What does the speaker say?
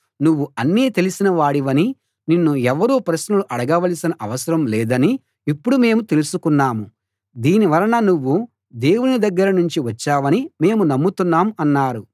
నువ్వు అన్నీ తెలిసిన వాడివని నిన్ను ఎవరూ ప్రశ్నలు అడగవలసిన అవసరం లేదని ఇప్పుడు మేము తెలుసుకున్నాం దీని వలన నువ్వు దేవుని దగ్గర నుంచి వచ్చావని మేము నమ్ముతున్నాం అన్నారు